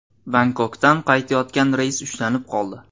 Bangkokdan qaytayotgan reys ushlanib qoldi.